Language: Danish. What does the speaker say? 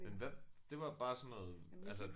Men hvad det var bare sådan noget altså